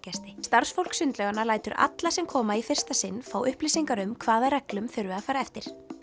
starfsfólk sundlauganna lætur alla sem koma í fyrsta sinn fá upplýsingar um hvaða reglum þurfi að fara eftir